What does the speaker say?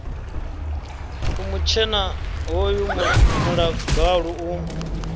u mutshena hoyu muḽagalu u